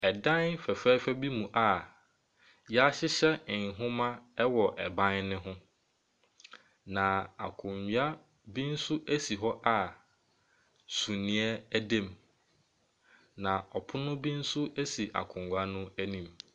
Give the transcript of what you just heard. Dan fɛfɛɛfɛ bi mu a yɛahyehyɛ nwoma wɔ ban ne ho, na akonnwa bi nso si hɔ a suneɛ da mu. Na pono bi nso si akonnwa no anim.